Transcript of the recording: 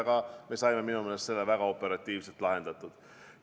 Me saime selle minu meelest väga operatiivselt lahendatud.